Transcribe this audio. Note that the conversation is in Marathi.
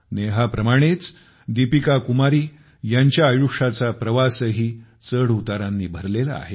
नेहाप्रमाणेच दीपिका कुमारी ह्यांच्या आयुष्याचा प्रवासही चढउतारांनी भरलेला आहे